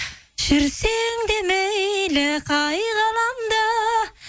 жүрсең де мейлі қай ғаламда